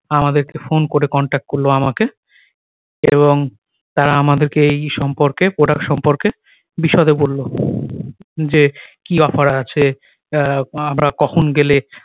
আমাদেরকে ফোন করে contact করলো আমাকে এবং তারা আমাদেরকে এই সম্পর্কে product সম্পর্কে বিশদে বলল যে কি offer আছে আহ আমরা কখন গেলে